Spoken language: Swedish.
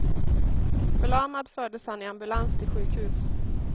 Förlamad fördes han i ambulans till sjukhus.